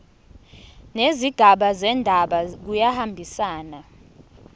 nezigaba zendaba kuyahambisana